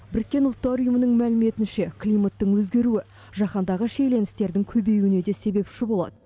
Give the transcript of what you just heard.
біріккен ұлттар ұйымының мәліметінше климаттың өзгеруі жаһандағы шиеленістердің көбеюіне де себепші болады